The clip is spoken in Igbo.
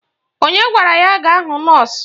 Onye gwara ya gaa hụ nọọsụ?